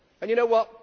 And you know what?